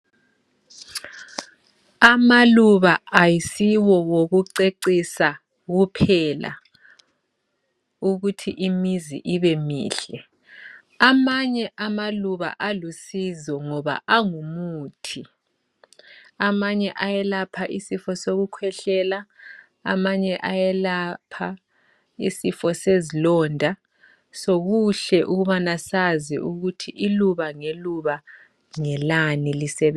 Amaluba ayisiwo wokucecisa kuphela ukuthi imizi ibemihle. Amanye amaluba alusizo ngoba angumuthi. Amanye ayelapha isifo sokukhwehlela, amanye ayelapha isifo sezilonda. So kuhle ukubana sazi ukuthi iluba ngeluba ngelani lisebe.